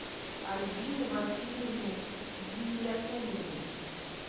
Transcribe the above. альбине васильевне гиниятуллиной